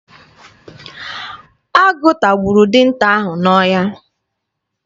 Agụ tagburu dinta ahụ n'ọhịa.